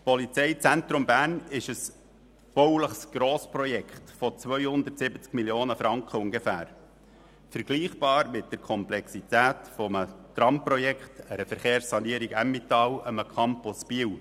Das PZB ist ein bauliches Grossprojekt von ungefähr 270 Mio. Franken, vergleichbar mit der Komplexität eines Tramprojekts, einer Verkehrssanierung Emmental oder einem Campus Biel.